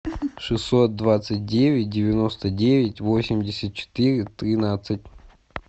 шестьсот двадцать девять девяносто девять восемьдесят четыре тринадцать